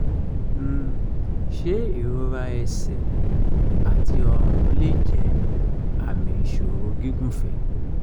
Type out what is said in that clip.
ṣé ìrora ẹsẹ̀ àti ọrùn lè jẹ́ àmì ìṣòro gígùnfẹ̀?